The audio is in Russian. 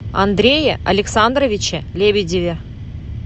андрее александровиче лебедеве